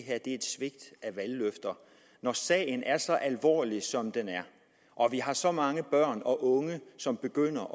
et svigt af valgløfter når sagen er så alvorlig som den er og vi har så mange børn og unge som begynder